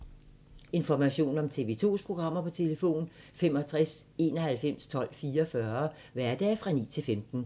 Information om TV 2's programmer: 65 91 12 44, hverdage 9-15.